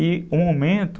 E o momento...